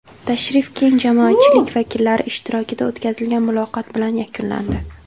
Tashrif keng jamoatchilik vakillari ishtirokida o‘tkazilgan muloqot bilan yakunlandi.